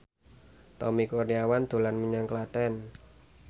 Tommy Kurniawan dolan menyang Klaten